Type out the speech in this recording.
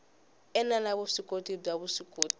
ene la vuswikoti bya vuswikoti